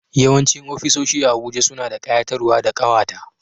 Yawancin ofisoshi a Abuja suna da kayatarwa da kawata